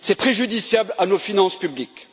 C'est préjudiciable à nos finances publiques.